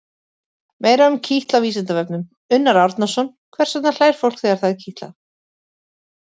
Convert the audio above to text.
Meira um kitl á Vísindavefnum: Unnar Árnason: Hvers vegna hlær fólk þegar það er kitlað?